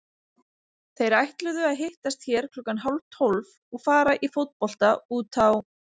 Þeir ætluðu að hittast hér klukkan hálftólf og fara í fótbolta út á